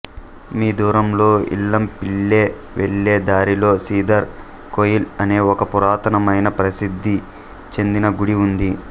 మీ దూరంలో ఈలంపిల్లై వెళ్లే దారిలో సిదర్ కొయిల్ అనే ఒక పురాతనమైన ప్రసిద్ధి చెందిన గుడి ఉంది